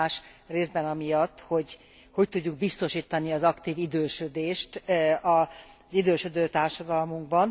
Kihívás részben amiatt, hogy hogy tudjuk biztosítani az aktív idősödést az idősödő társadalmunkban.